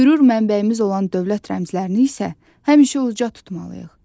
Qürur mənbəyimiz olan dövlət rəmzlərini isə həmişə uca tutmalıyıq.